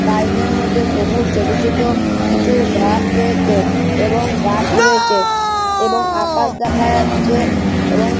garden -এর মধ্যে সবুজ ছোট ছোট কিছু ঘাস রয়েছে এবং গাছ রয়েছে এবং আকাশ দেখা যাচ্ছে এবং--